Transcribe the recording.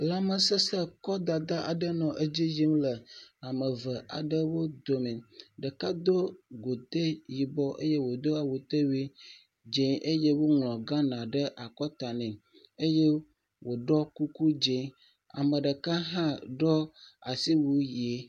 Lãmesesẽ kɔdada aɖe nɔ edzi yimle am eve aɖewo dome, ɖeka do godoe yibɔ eye wòdo awutewui dze eye woŋlɔ̃ Ghana ɖe akɔta nɛ eye wòɖɔ kuku dze, ame ɖeka hã ɖɔ asiwui ye.